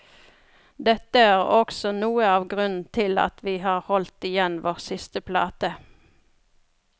Dette er også noe av grunnen til at vi har holdt igjen vår siste plate.